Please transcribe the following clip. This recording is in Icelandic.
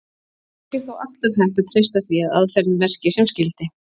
Ekki er þó alltaf hægt að treysta því að aðferðin verki sem skyldi.